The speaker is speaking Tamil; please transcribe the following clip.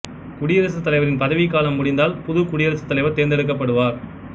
குடியரசுத் தலைவரின் பதவிக் காலம் முடிந்தால் புது குடியரசுத் தலைவர் தேர்ந்தெடுக்கப்படுவார்